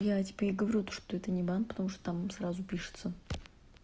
я тебе и говорю то что это не банк потому что там сразу пишется